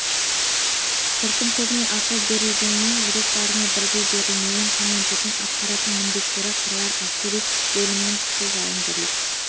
жұрттың көбіне ақыл берілгенімен жүрек бәріне бірдей берілмеген командирдің атқаратын міндеттері қыруар әскери бөлімнің күші жауынгерлік